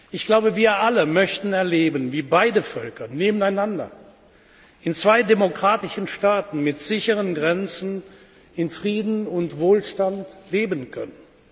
Ich glaube, wir alle möchten erleben, wie beide Völker nebeneinander in zwei demokratischen Staaten mit sicheren Grenzen in Frieden und Wohlstand leben können.